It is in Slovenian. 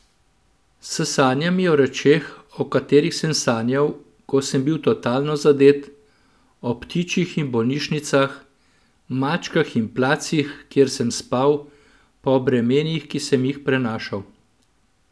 S sanjami o rečeh, o katerih sem sanjal, ko sem bil totalno zadet, o ptičih in bolnišnicah, mačkah in placih, kjer sem spal, pa o bremenih, ki sem jih prenašal.